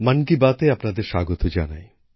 মন কি বাতে আপনাদের স্বাগত জানাই